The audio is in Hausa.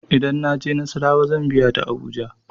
Idan na je nassarawa zan biya ta abuja.